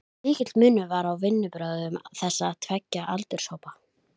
Mikill munur var á vinnubrögðum þessara tveggja aldurshópa.